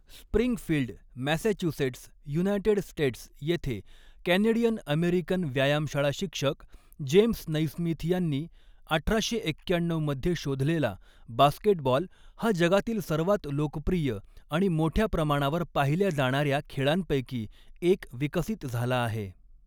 Springfield, Massachusetts, United States येथे Canadian American व्यायामशाळा शिक्षक जेम्स नैस्मिथ यांनी अठराशे एक्याण्णऊ मध्ये शोधलेला, बास्केटबॉल हा जगातील सर्वात लोकप्रिय आणि मोठ्या प्रमाणावर पाहिल्या जाणाऱ्या खेळांपैकी एक विकसित झाला आहे.